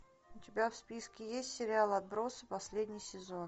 у тебя в списке есть сериал отбросы последний сезон